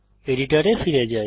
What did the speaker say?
এডিটরে ফিরে যাই